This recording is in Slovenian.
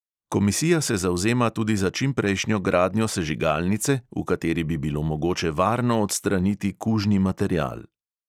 Komisija se zavzema tudi za čimprejšnjo gradnjo sežigalnice, v kateri bi bilo mogoče varno odstraniti kužni material.